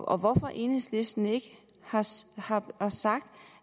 og hvorfor enhedslisten ikke har sagt